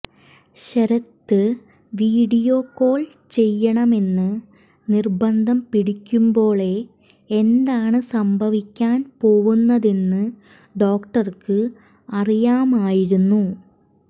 Sarath video call ചെയ്യണമെന്ന് നിർബന്ധം പിടിക്കുമ്പോളെ എന്താണ് സംഭവിക്കാൻ പോവുന്നതെന്ന് ഡോക്ടർക്ക് അറിയാമായിരുന്നു